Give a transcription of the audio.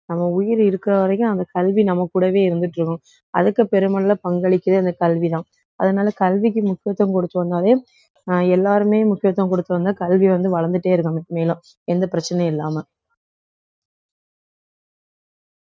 நம்ம உயிர் இருக்கிற வரைக்கும் அந்த கல்வி நம்ம கூடவே இருந்துட்டு இருக்கும் அதுக்கு அதுக்கு பெருமளவுல பங்களிக்கிறது இந்த கல்விதான் அதனால கல்விக்கு முக்கியத்துவம் கொடுத்தோம்னாலே அஹ் எல்லாருமே முக்கியத்துவம் கொடுத்தோம்னா கல்வி வந்து வளர்ந்துட்டே இருக்கும் மேலும் எந்த பிரச்சனையும் இல்லாம.